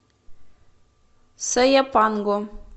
сояпанго